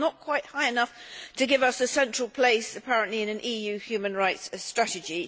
Well, not quite high enough to give us a central place, apparently, in an EU human rights strategy.